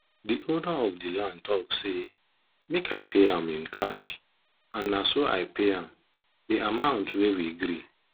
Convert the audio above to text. dey owner of dey land talk say make i pay am in cash and naso i pay am dey amount wey we gree